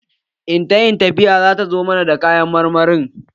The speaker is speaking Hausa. In ta yi tafiya, zata zo mana da kayan marmari